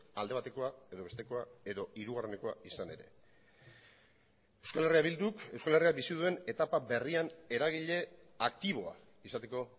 alde batekoa edo bestekoa edo hirugarrenekoa izanda ere eh bilduk euskal herriak bizi duen etapa berrian eragile aktiboa izateko